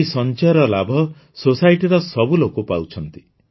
ଏହି ସଂଚୟର ଲାଭ Societyର ସବୁ ଲୋକ ପାଉଛନ୍ତି